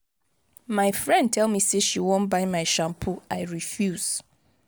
my friend tell me say she wan buy my shampoo i refuse.